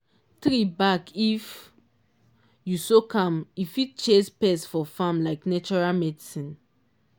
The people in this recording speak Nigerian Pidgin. tree back if u soak am e fit chase pests for farm like natural medicine